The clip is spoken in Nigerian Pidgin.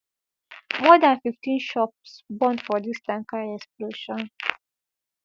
more dan fifteen shops burn for dis tanker explosion